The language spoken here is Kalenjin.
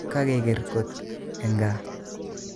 Kakeker kot eng gaa